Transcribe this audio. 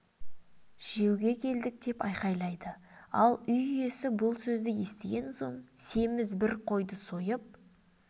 жеуге келдік деп айғайлайды ал үй иесі бұл сөзді естіген соң семіз бір қойды сойып